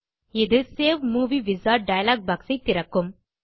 இது save movie wizard dialog box ஐ திறக்கும்